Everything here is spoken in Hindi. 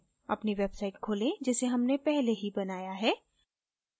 अपनी website खोलें जिसे हमने पहले ही बनाया है